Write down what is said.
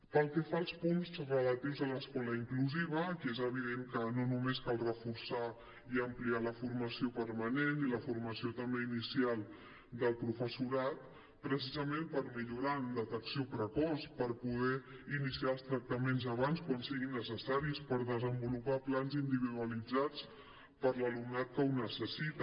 pel que fa als punts relatius a l’escola inclusiva aquí és evident que no només cal reforçar i ampliar la formació permanent i la formació també inicial del professorat precisament per millorar en detecció precoç per poder iniciar els tractaments abans quan siguin necessaris per desenvolupar plans individualitzats per a l’alumnat que ho necessita